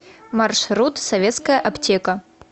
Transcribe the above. маршрут советская аптека